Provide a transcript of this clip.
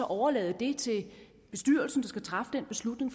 overlade det til bestyrelsen der skal træffe den beslutning